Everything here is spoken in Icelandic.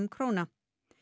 króna